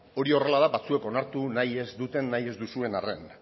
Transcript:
hori horrela da batzuek onartu nahi ez duzuen arren